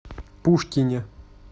пушкине